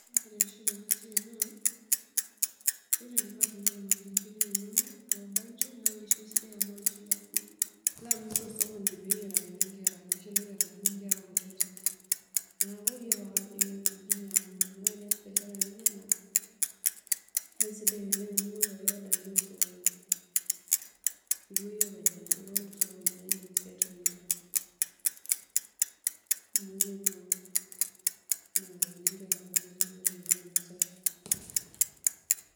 Naakira aitiship tena siai naa, ore indipa atuuno ilmalengen linonok loobanji naa iloshi sidan amu iloshi lilo amirr tosokoni pee eyiarakini inkera, iloshi ooyiarakini inkera kutitik, neeku iyiolo ake ajo kinyianguni. Neeku teniass biashara naijo ena, kaisidai oleng' amu ingoru ake [c] order [c] niya osokoni, pee ilo iyie openy aingorru tosokoni naa indim sii atimira. Amu kepuo, ninyiangakini inkera kutitik pee etumoki ainosa.